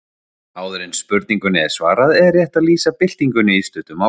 Áður en spurningunni er svarað er rétt að lýsa byltingunni í stuttu máli.